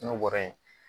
N'o bɔra yen